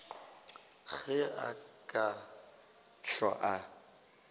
ge a ka hlwa a